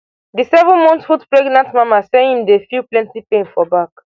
di seven month foot pregnant mama say im dey feel plenty pain for back